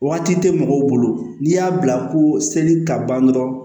Waati tɛ mɔgɔw bolo n'i y'a bila ko seli ka ban dɔrɔn